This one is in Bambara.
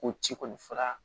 Ko ci kɔni fura